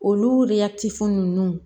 Olu de ya tifo ninnu